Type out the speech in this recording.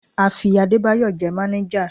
A fi Adébáyọ̀ jẹ máníjà.